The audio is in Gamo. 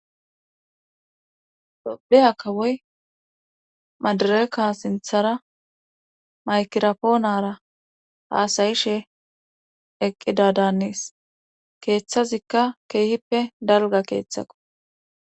Tophphiya kawoy madireka sinththara maykirapoonara haasayishshe eqqidadanisis keeththazikka keehippe dalgga keeththako